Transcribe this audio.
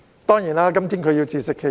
當然，她今天要自食其果。